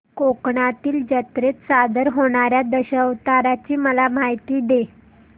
कोकणातील जत्रेत सादर होणार्या दशावताराची मला माहिती दे